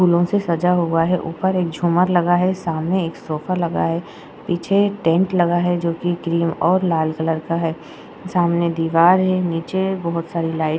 फूलों से सजा हुआ है। ऊपर एक झूमर लगा है। सामने एक सोफा लगा है। पीछे टेन्ट लगा है जो कि ग्रीन और लाल कलर का है। सामने दीवार है। नीचे बोहोत सारी लाइट --